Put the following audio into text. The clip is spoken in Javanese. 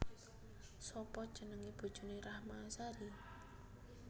Sapa jenenge bojone Rahma Azhari?